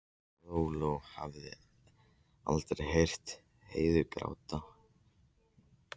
Lóa-Lóa hafði aldrei heyrt Heiðu gráta fyrr.